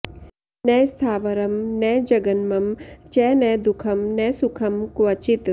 न स्थावरं न जङ्गमं च न दुःखं न सुखं क्वचित्